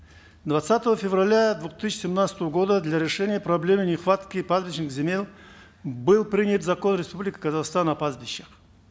двадцатого февраля две тысячи семнадцатого года для решения проблемы нехватки пастбищных был принят закон республики казахстан о пастбищах